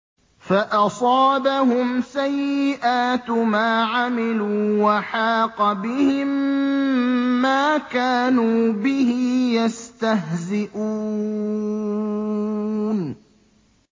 فَأَصَابَهُمْ سَيِّئَاتُ مَا عَمِلُوا وَحَاقَ بِهِم مَّا كَانُوا بِهِ يَسْتَهْزِئُونَ